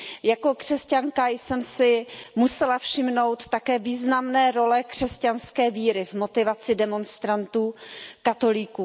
Jako křesťanka jsem si musela všimnout také významné role křesťanské víry v motivaci demonstrantů katolíků.